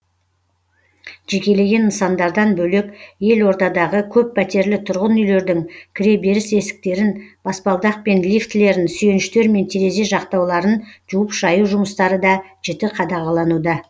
жекелеген нысандардан бөлек елордадағы көппәтерлі тұрғын үйлердің кіреберіс есіктерін баспалдақ пен лифтілерін сүйеніштер мен терезе жақтауларын жуып шаю жұмыстары да жіті қадағалануда